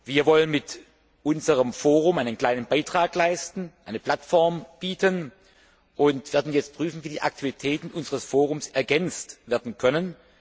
Wir wollen mit unserem Forum einen kleinen Beitrag leisten, eine Plattform bieten und werden jetzt prüfen, wie die Aktivitäten unseres Forums ergänzt werden können.